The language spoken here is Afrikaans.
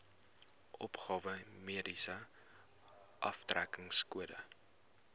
opgawe mediese aftrekkingskode